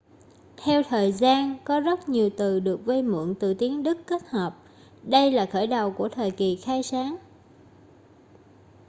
theo thời gian có rất nhiều từ được vay mượn từ tiếng đức kết hợp đây là khởi đầu của thời kỳ khai sáng